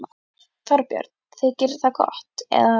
Þorbjörn: Þykir það gott, eða?